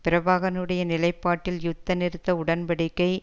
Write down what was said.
பிரபாகரனுடைய நிலைப்பாட்டில் யுத்த நிறுத்த உடன் படிக்கை